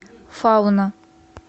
фауна